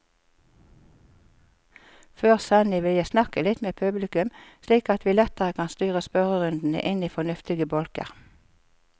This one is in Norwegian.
Før sending vil jeg snakke litt med publikum, slik at vi lettere kan styre spørrerundene inn i fornuftige bolker.